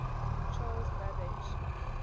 charles babbage